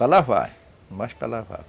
Para lavar, mas para lavar.